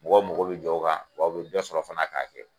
Mɔgɔw mogo be jɔw ka wa u be dɔ sɔrɔ fana k'a kɛ.